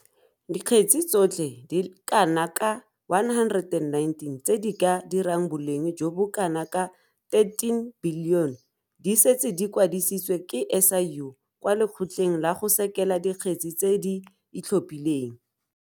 Dikgetse tsotlhe di le kana ka 119 tse di ka dirang boleng jo bo kanaka R13 bilione di setse di kwadisitswe ke SIU kwa Lekgotleng la go Sekela Dikgetse tse di Itlhophileng.